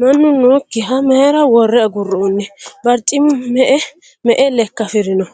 Mannu nookkiha mayyira worre aguroonni? Barichimi me"e me"e lekka afirino?